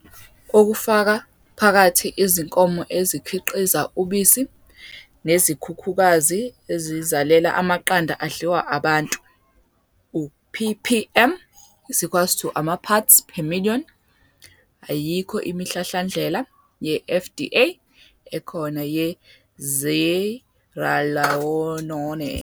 Okufaka phakathi izinkomo ezikhiqiza ubisi nezikhukhukazi ezizalela amaqanda adliwa abantu, u-ppm is equals to amaparts per million, Ayikho imihlahlandlela ye-FDA ekhona ye-Zearalenone.